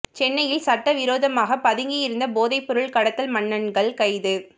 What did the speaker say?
சென்னையில் சட்ட விரோதமாக பதுங்கி இருந்த போதை பொருள் கடத்தல் மன்னன்கள் கைது